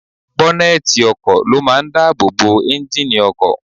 Bọ́nẹ́ẹ̀tì ọkọ̀ ló máa ń dáàbò bo ẹ́ńjíìnnì ọkọ̀.